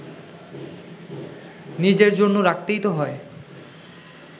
নিজের জন্য রাখতেই তো হয়